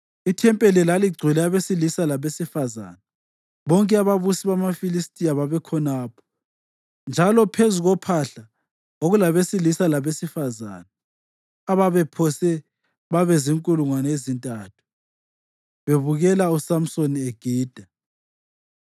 Ithempeli laligcwele abesilisa labesifazane; bonke ababusi bamaFilistiya babekhonapho, njalo phezu kophahla kwakulabesilisa labesifazane ababephose babe zinkulungwane ezintathu bebukele uSamsoni egida.